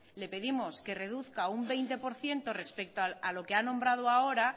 le pedimos que reduzca un veinte por ciento respecto a lo que ha nombrado ahora